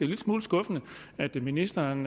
lille smule skuffende at ministeren